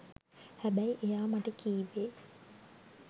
හැබැයි එයා මට කිවේ